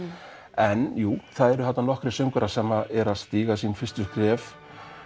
en jú það voru þarna nokkrir söngvarar sem eru að stíga sín fyrstu skref